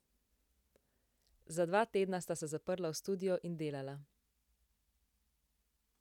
Za dva tedna sta se zaprla v studio in delala ...